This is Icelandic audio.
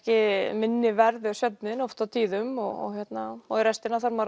minni verður svefninn oft á tíðum og og í restina þarf maður